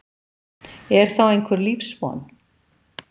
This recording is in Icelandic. Er þá einhver lífsvon?